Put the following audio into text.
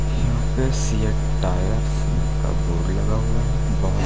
यहां पर CEAT tyre का बोर्ड लगा हुआ है बाहर--